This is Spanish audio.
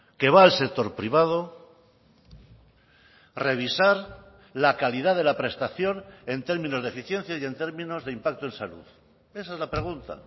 que va al sector privado revisar la calidad de la prestación en términos de eficiencia y en términos de impacto en salud esa es la pregunta